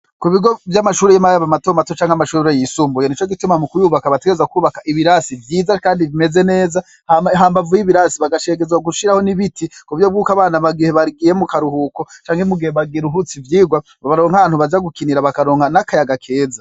Ku bigo vy'amashuri y'imae ba matomato canke amashubero yisumbuye ni co gituma mu kuyubaka bategeza kwubaka ibirasi vyiza, kandi bimeze neza hambavu y'ibirasi bagashekezwa gushiraho n'ibiti ku vyo bw'uko abana bagihe bagiye mu karuhuko canke mugihe bagiaruhutsi vyirwa babaronkantu baja gukinira bakaronka n'akayaga keza.